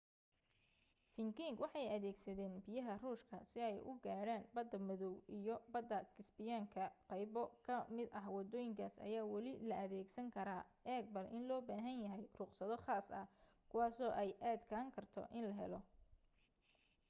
vikings waxay adeegsadeen biyaha ruushka si ay u gaadhaan badda madaw iyo badda kasbiyaanka qaybo ka mid ah waddooyinkaas ayaa weli la adeegsan karaa eeg bal in loo baahan yahay ruqsado khaas ah kuwaaso ay adkaan karto in la helo